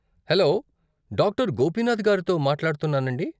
Hello, doctor Gopinath గారితో మాట్లాడుతున్నానాండీ?